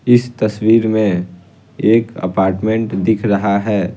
इस तस्वीर में एक अपार्टमेंट दिख रहा है।